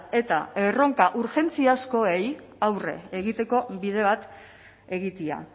eta erronka urgentziakoei aurre egiteko bide bat egitea